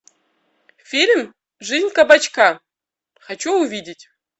фильм жизнь кабачка хочу увидеть